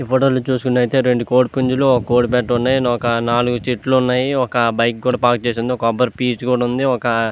ఈ ఫోటో చుస్తునాటు అయతె రెండు కోడి పున్జుల్లు ఒక కోడి పేట ఒక నాలుగు చెట్లు లు ఉన్నాయ్ ఒక బైక్ కూడా పార్క్ చేసి ఉంది ఒక కోబరి పెఇస్ కూడా ఉంది.